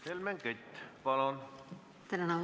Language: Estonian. Helmen Kütt, palun!